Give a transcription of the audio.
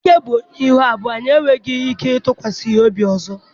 Dake bụ onye ihu abụọ anyị enweghị ike ịtụkwasị ya obi ọzọ.